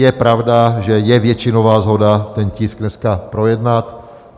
Je pravda, že je většinová shoda ten tisk dneska projednat.